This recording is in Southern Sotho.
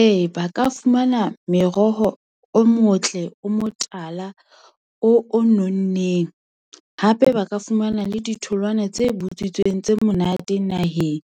Ee, ba ka fumana meroho o motle, o motala, o nonneng. Hape ba ka fumana le ditholwana tse butswitseng, tse monate naheng